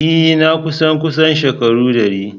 Ee! Na kusan kusan shekaru dari.